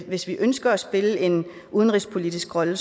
hvis vi ønsker at spille en udenrigspolitisk rolle